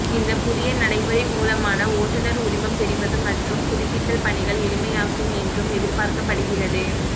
இந்த புதிய நடைமுறை மூலமாக ஓட்டுனர் உரிமம் பெறுவது மற்றும் புதுப்பித்தல் பணிகள் எளிமையாகும் என்று எதிர்பார்க்கப்படுகிறது